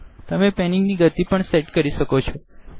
તમે પેનીંગ ણી ગતી પણ સેટ કરી શકો છો